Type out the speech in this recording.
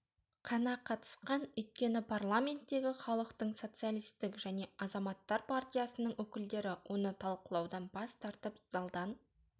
қана қатысқан өйткені парламенттегі халықтық социалистік және азаматтар партиясының өкілдері оны талқылаудан бас тартып залдан